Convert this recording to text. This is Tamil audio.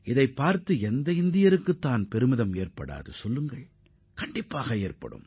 இது ஒவ்வொரு இந்தியரையும் பெருமிதம் கொள்ளச் செய்யும்